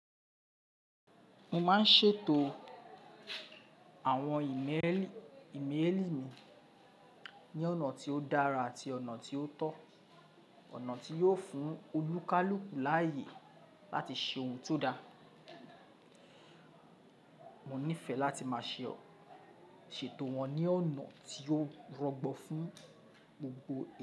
Mo máa ń ṣètò àwọn ìmélì imeeli mi ní ọ̀nà tí ó dára àti ọ̀nà tí ó tọ́, ọ̀nà tí yóò fún olùkálùku láayé láti ṣe ohun tó da. Mo nífẹ̀ẹ́ láti máa ṣè setò wọ́n ní ọ̀nà tí ó rọgbọ fún gbogbo ẹni.